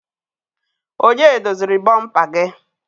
Onye doziri bomper gị?